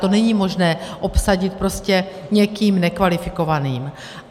To není možné obsadit prostě někým nekvalifikovaným.